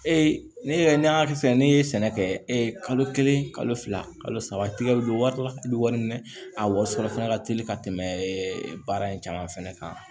Ee ne yɛrɛ ni y'a kɛ sisan ne ye sɛnɛ kɛ e ye kalo kelen kalo fila kalo saba tigɛ don wari la i bi wari minɛ a wɔɔrɔ sɔrɔ fana ka teli ka tɛmɛ baara in caman fɛnɛ kan